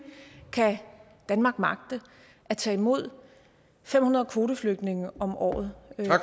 kan danmark magte at tage imod fem hundrede kvoteflygtninge om året